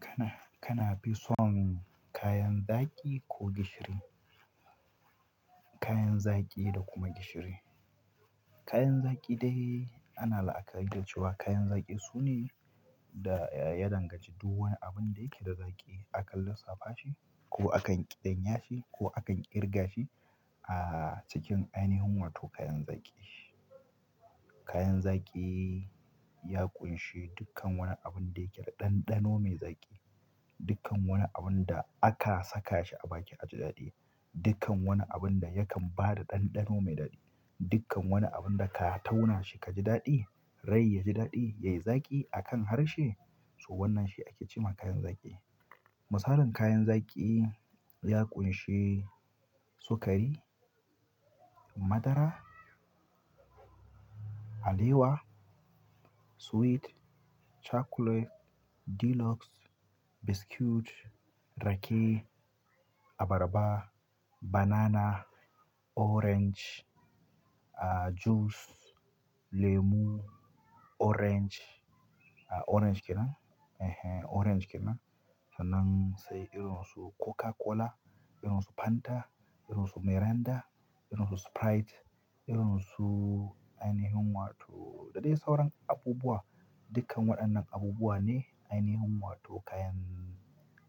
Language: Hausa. Kana, kana fi son kayan zaƙi ko gishiri? Kayan zaƙi da kuma gishiri. Kayan zaƙi dai ana la'akari da cewa kayan zaƙi sune da ya danganci duk wani abun da yake da zaƙi akan lissafa shi ko akan ƙidanya shi ko akan ƙirga shi a cikin ainihin wato kayan zaki. Kayan zaki ya ƙunshi dukkan wani abun da yake da ɗanɗano mai zaƙi. Dukkan wani abun da aka saka shi a baki ya ji daɗi. Dukkan wani abun da yakan ba da ɗanɗano mai daɗi. Dukkan wani abun da ka tauna shi ka ji daɗi, rai ya ji daɗi, yayi zaƙi akan harshe. So wannan shi ake cewa kayan zaƙi. Misalin kayan zaƙi. Ya ƙunshi sukari, madara, alewa, sweet, chocolate, deluxe, biscuit, rake, abarba, banana, orange, juice, lemu, orange, orange kena, orange kena. Sannan sai irin su Coca Cola, irin su Fanta, irin su Miranda, irin su Sprite, irin su ainihin wato da dai sauran abubuwa. Dukkan waɗannan abubuwa ne ainihin wato kayan